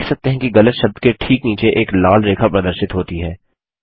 आप देख सकते हैं कि गलत शब्द के ठीक नीचे एक लाल रेखा प्रदर्शित होती है